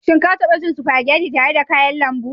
Shin ka taba cin spaghetti tare da kayan lambu?